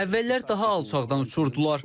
Əvvəllər daha alçaqdan uçurdular.